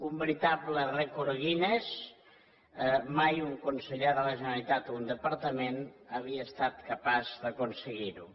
un veritable rècord guinness mai un conseller de la generalitat o un departament havia estat capaç d’aconseguir ho